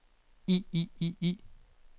i i i